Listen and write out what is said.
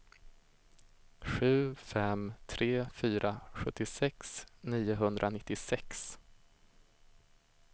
sju fem tre fyra sjuttiosex niohundranittiosex